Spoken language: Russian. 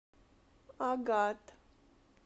агат